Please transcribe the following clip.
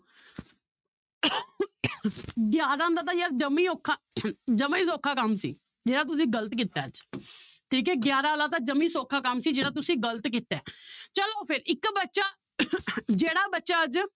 ਗਿਆਰਾਂ ਦਾ ਤਾਂ ਯਾਰ ਜਮਾ ਹੀ ਔਖਾ ਜਮਾ ਹੀ ਸੌਖਾ ਕੰਮ ਸੀ ਜਿਹੜਾ ਤੁਸੀਂ ਗ਼ਲਤ ਕੀਤਾ ਹੈ ਠੀਕ ਹੈ ਗਿਆਰਾਂ ਵਾਲਾ ਤਾਂ ਜਮਾ ਹੀ ਸੌਖਾ ਕੰਮ ਸੀ ਜਿਹੜਾ ਤੁਸੀਂ ਗ਼ਲਤ ਕੀਤਾ ਹੈ ਚਲੋ ਫਿਰ ਇੱਕ ਬੱਚਾ ਜਿਹੜਾ ਬੱਚਾ ਅੱਜ